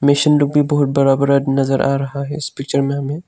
Mission रूप भी बहुत बड़ा बड़ा नजर आ रहा है इस पिक्चर में हमें।